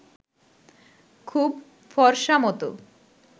খুব ফরসামতো